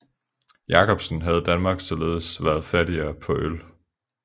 Jacobsen havde Danmark således været fattigere på øl